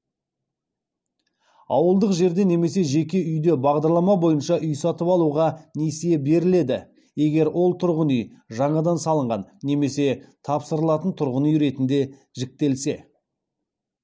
ауылдық жерде немесе жеке үйде бағдарлама бойынша үй сатып алуға несие беріледі егер ол тұрғын үй жаңадан салынған немесе тапсырылатын тұрғын үй ретінде жіктелсе